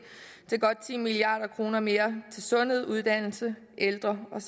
til godt ti milliard kroner mere til sundhed uddannelse ældre med